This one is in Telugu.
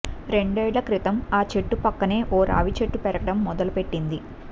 రెండేళ్ల క్రితం ఆ చెట్టు పక్కనే ఓ రావి చెట్టు పెరగడం మొదలు పెట్టింది